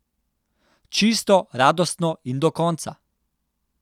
Čisto, radostno in do konca.